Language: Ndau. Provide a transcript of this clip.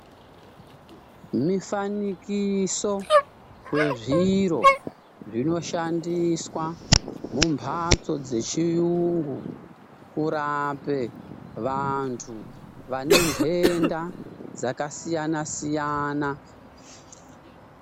Mifanikiso wezviro zvinoshandiswa mumphatso dzechiyungu, kurape vantu vane ntenda dzakasiyana-siyana .